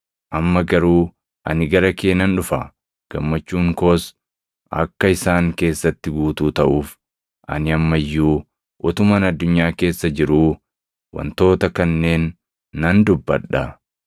“Amma garuu ani gara kee nan dhufa; gammachuun koos akka isaan keessatti guutuu taʼuuf, ani amma iyyuu utuman addunyaa keessa jiruu wantoota kanneen nan dubbadha.